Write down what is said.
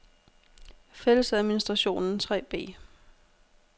Fællesadministrationen 3b